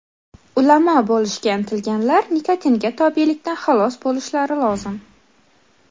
Ulamo bo‘lishga intilganlar nikotinga tobelikdan xalos bo‘lishlari lozim.